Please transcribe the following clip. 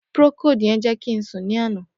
Procold yẹn jẹ ki n sun ni ana.